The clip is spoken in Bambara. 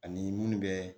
Ani munnu bɛ